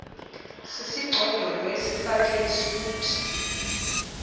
sisigcodolo esifake isuti